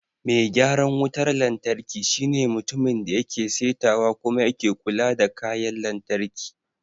Mai gyaran wutar lantarki shine mutumin da yake saitawa kuma yake kula da kayayyakin lantarki.